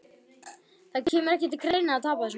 Það kemur ekki til greina að tapa þessum leik!